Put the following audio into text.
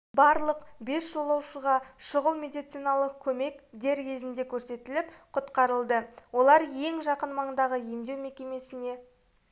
барлық бес жолаушыға шұғыл медициналық көмек дер кезінде көрсетіліп құтқарылды олар ең жақын маңдағы емдеу мекемесіне